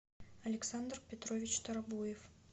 александр петрович тарабуев